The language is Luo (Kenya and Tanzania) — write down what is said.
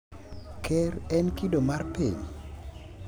Ker en kido mar piny?